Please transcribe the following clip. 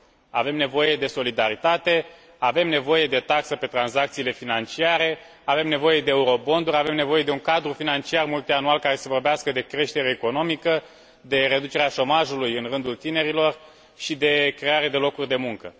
Avem nevoie de solidaritate, avem nevoie de taxă pe tranzacțiile financiare, avem nevoie de euroobligațiuni, avem nevoie de un cadru financiar multianual care să vorbească de creștere economică, de reducerea șomajului în rândul tinerilor și de creare de locuri de muncă.